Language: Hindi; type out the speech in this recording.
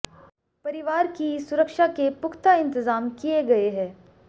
परिवार की सुरक्षा के पुख्ता इंतजाम किए गए हैं